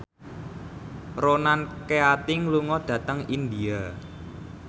Ronan Keating lunga dhateng India